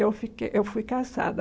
Eu fique eu fui cassada.